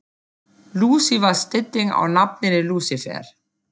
Lúsi var stytting á nafninu Lúsífer.